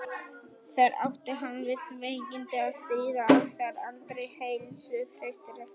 þar átti hann við veikindi að stríða og var aldrei heilsuhraustur eftir það